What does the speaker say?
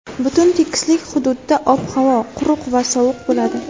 Butun tekislik hududda ob-havo quruq va sovuq bo‘ladi.